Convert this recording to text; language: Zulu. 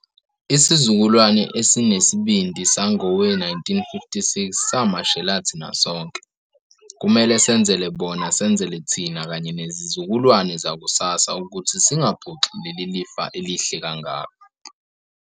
Isizukulwane esinesibindi sangowe-1956 samashela thina sonke. Kumele senzele bona, senzele thina kanye nezizukulwane zakusasa ukuthi singaphoxi leli lifa elihle kangaka.